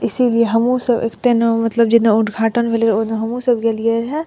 इसीलिए हमहु सब एकते न मतलब जिन्हे उद्घाटन भइले उनहु सब गइले रहली लिए।